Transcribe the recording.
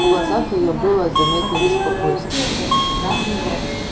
в глазах её было заметно беспокойство